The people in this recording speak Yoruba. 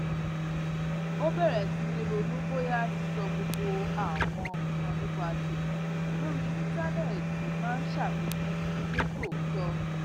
ó bèrè sí í ronú bóyá sísọ gbogbo àwọn nnkan nípa tẹmí lórí íńtánéètì máa n ṣàfikún ní tòótọ